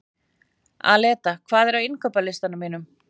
Aleta, hvað er á innkaupalistanum mínum?